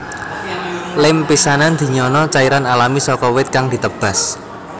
Lem pisanan dinyana cairan alami saka wit kang ditebas